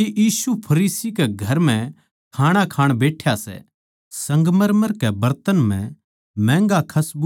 के यीशु फरीसी कै घर म्ह खाणा खाण बैठ्या सै संगमरमर कै बरतन म्ह महँगा खसबूदार तेल ल्याई